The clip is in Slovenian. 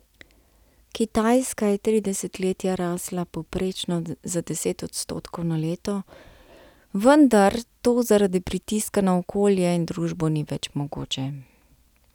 Kitajska je tri desetletja rasla povprečno za deset odstotkov na leto, vendar to zaradi pritiska na okolje in družbo ni več mogoče.